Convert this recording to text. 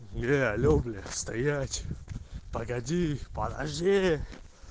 не алло блять стоять погоди подожди